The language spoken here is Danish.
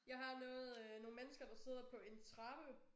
Jeg har noget øh nogle mennesker der sidder på en trappe